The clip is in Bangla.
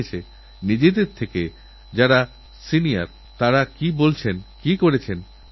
আপনাদের মনেও হয়ত এমন কিছু কথা থাকতে পারে যাআপনারা চান লালকেল্লার ওই প্রাকার থেকেই সমান গুরুত্ব দিয়ে পেশ করা হোক